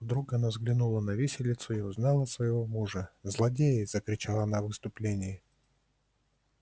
вдруг она взглянула на виселицу и узнала своего мужа злодеи закричала она в исступлении